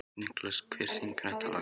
Nikolas, hver syngur þetta lag?